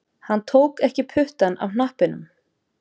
Hann tók ekki puttann af hnappinum